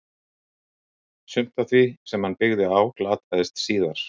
Sumt af því sem hann byggði á glataðist síðar.